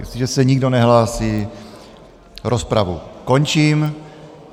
Jestliže se nikdo nehlásí, rozpravu končím.